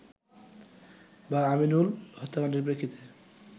বা আমিনুল হত্যাকাণ্ডের প্রেক্ষিতে